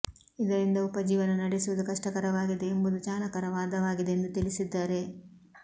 ಇದರಿಂದ ಉಪಜೀವನ ನಡೆಸುವುದು ಕಷ್ಟಕರವಾಗಿದೆ ಎಂಬುದು ಚಾಲಕರ ವಾದವಾಗಿದೆ ಎಂದು ತಿಳಿಸಿದ್ದಾರೆ